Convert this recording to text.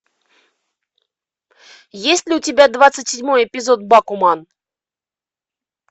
есть ли у тебя двадцать седьмой эпизод бакуман